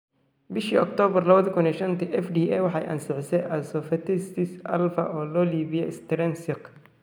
Bishii Oktoobar 2015 FDA waxay ansixisay asfotase alfa, oo loo iibiyey Strensiq.